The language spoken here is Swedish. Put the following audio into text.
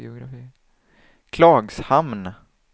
Klagshamn